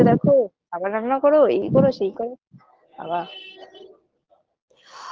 ছেলেকে দেখো আবার রান্না করো এই করো সেই করো আবা BREATHE